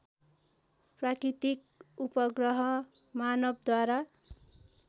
प्राकृतिक उपग्रह मानवद्वारा